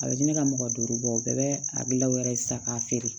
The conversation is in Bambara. A bɛ di ne ka mɔgɔ duuru bɔ bɛɛ bɛ a gilan o yɛrɛ ye sa k'a feere